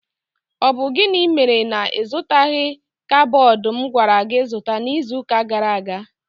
Ọ bụ gịnị mere na ịzụtaghi kaiboodu m gwara gị zụta n'iziuka gara aga?